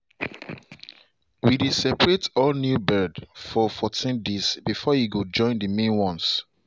we dey separate all new bird for fourteen days before e go join the main ones.